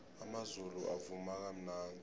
amazulu avuma kamnandi